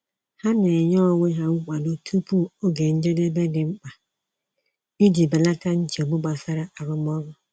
Ha na-enye onwe ha nkwado tupu oge njedebe dị mkpa iji belata nchegbu gbasara arụmọrụ.